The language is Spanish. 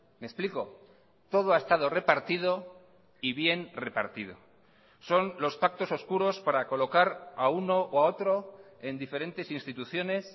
me explico todo ha estado repartido y bien repartido son los pactos oscuros para colocar a uno o a otro en diferentes instituciones